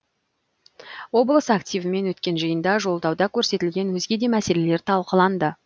облыс активімен өткен жиында жолдауда көрсетілген өзге де мәселелер талқыланды